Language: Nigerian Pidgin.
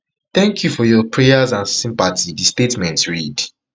thank you for your prayers and sympathy di statement read